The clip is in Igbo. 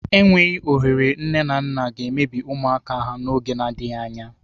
Enweghị ohere nne na nna ga-emebi ụmụaka ha n'oge n'adịghị anya.